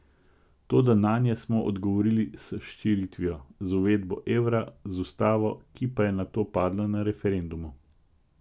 Toda nanje smo odgovorili s širitvijo, z uvedbo evra, z ustavo, ki pa je nato padla na referendumu...